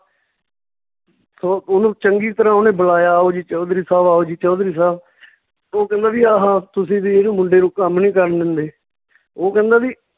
ਉਹ ਓਹਨੂੰ ਚੰਗੀ ਤਰ੍ਹਾਂ ਓਹਨੇ ਬੁਲਾਇਆ ਆਓ ਜੀ ਚੌਧਰੀ ਸਾਹਬ ਆਓ ਜੀ ਚੌਧਰੀ ਸਾਹਬ ਓਹ ਕਹਿੰਦਾ ਵੀ ਆਹਾ ਤੁਸੀਂ ਵੀ ਇਹਨੂੰ ਮੁੰਡੇ ਨੂੰ ਕੰਮ ਨੀ ਕਰਨ ਦਿੰਦੇ ਓਹ ਕਹਿੰਦਾ ਵੀ